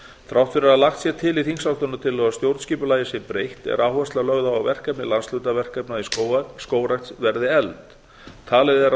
þrátt fyrir að lagt sé til í þingsályktunartillögunni að stjórnskipulagi sé breytt er áhersla lögð á að verkefni landshlutaverkefnanna skógrækt verði efld talið er